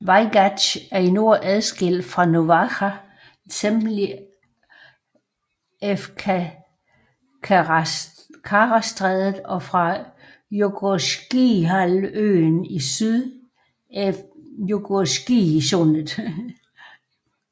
Vajgatsj er i nord adskilt fra Novaja Zemlja af Karastrædet og fra Jugorskijhalvøen i syd af Jugorskijsundet